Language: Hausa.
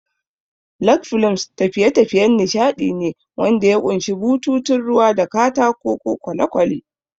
Log flumes tafiye-tafiyen nishadi ne wanda ya ƙunshi bututun ruwa da katako ko kwale-kwale.